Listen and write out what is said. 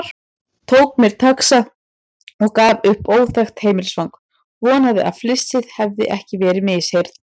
Tók mér taxa og gaf upp óþekkt heimilisfang, vonaði að flissið hefði ekki verið misheyrn.